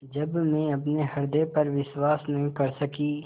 जब मैं अपने हृदय पर विश्वास नहीं कर सकी